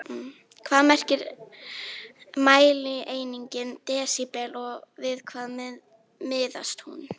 Hvað merkir mælieiningin desíbel og við hvað miðast hún?